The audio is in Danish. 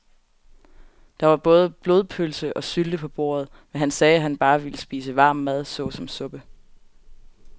Der var både blodpølse og sylte på bordet, men han sagde, at han bare ville spise varm mad såsom suppe.